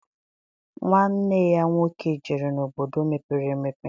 Nwanne ya nwoke jere n'obodo mepere emepe